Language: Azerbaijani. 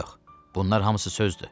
Yox, bunlar hamısı sözdür.